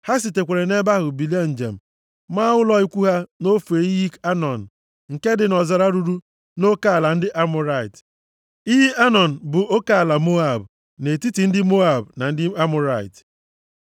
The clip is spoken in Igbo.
Ha sitekwara nʼebe ahụ bilie njem, maa ụlọ ikwu ha nʼofe iyi Anọn nke dị nʼọzara ruru nʼoke ala ndị Amọrait. Iyi Anọn bụ oke ala Moab, nʼetiti ndị Moab na ndị Amọrait.